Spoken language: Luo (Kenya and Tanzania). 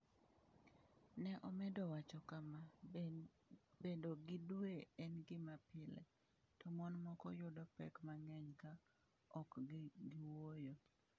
Ne omedo wacho kama: “Bedo gi dwe en gima pile, to mon moko yudo pek mang’eny ka ok giwuoyo.”